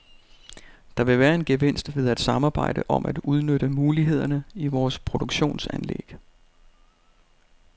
Der vil være en gevinst ved at samarbejde om at udnytte mulighederne i vores produktionsanlæg.